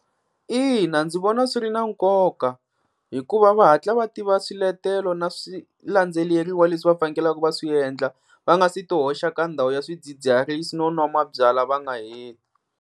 Ina ndzi vona swi ri na nkoka hikuva va hatla va tiva swiletelo na swilandzeleriwa leswi va fanekelaka va swi endla va nga se ti hoxa ka ndhawu ya swidzidziharisi no nwa mabyalwa va nga heti.